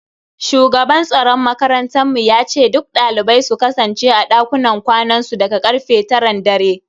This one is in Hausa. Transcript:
Shugaban tsaron makarantar mu yace duk dalibai su kasance a dakunan kwanansu daga karfe taran dare.